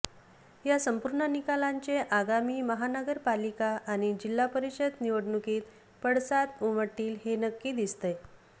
या संपूर्ण निकालांचे आगामी महानगरपालिका आणि जिल्हापरीषद निवडणुकीत पडसाद उमटतील हे नक्की दिसतंय